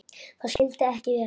Það skyldi ekki vera.